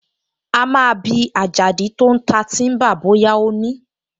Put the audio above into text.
A máa bi Àjàdí tó ń ta tíḿbà bóyá ó ní